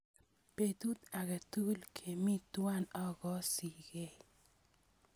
Petut ake tukuk kemi twai akoosikey.